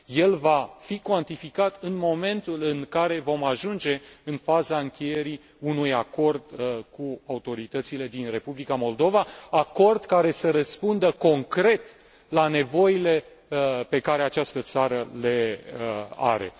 El va fi cuantificat în momentul în care vom ajunge în faza încheierii unui acord cu autoritățile din Republica Moldova, acord care să răspundă concret la nevoile pe care această țară le are.